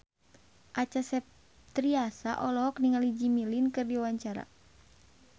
Acha Septriasa olohok ningali Jimmy Lin keur diwawancara